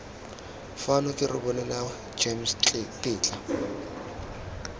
fano ke rebolela gems tetla